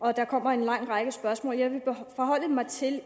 og der kommer en lang række spørgsmål jeg vil forholde mig til